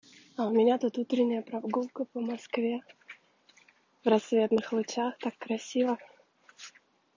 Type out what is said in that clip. а у меня тут утренняя прогулка по москве в рассветных лучах так красиво